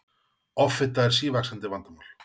offita er sívaxandi vandamál